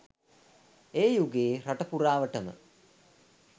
ඒ යුගයේ රට පුරාවට ම